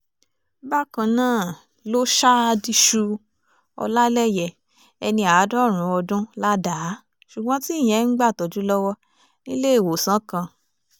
bákan náà ló ṣa diṣu ọlálẹyé ẹni àádọ́rùn-ún ọdún ládàá ṣùgbọ́n tí ìyẹn ń gbàtọ́jú lọ́wọ́ níléèwọ̀sán kan